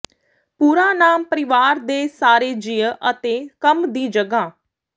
ਪੂਰਾ ਨਾਮ ਪਰਿਵਾਰ ਦੇ ਸਾਰੇ ਜੀਅ ਅਤੇ ਕੰਮ ਦੀ ਜਗ੍ਹਾ